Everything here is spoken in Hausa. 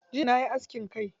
Jiya nayi askin kai.